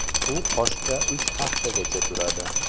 U qoshda uch haftagacha turadi.